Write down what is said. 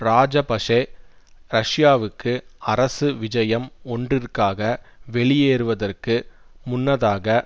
இராஜபஷெ ரஷ்யாவுக்கு அரசு விஜயம் ஒன்றிற்க்காக வெளியேறுவதற்கு முன்னதாக